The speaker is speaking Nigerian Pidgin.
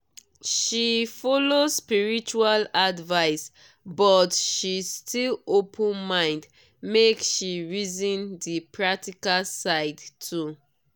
she follow spiritual advice but she still open mind make she reason di practical side too.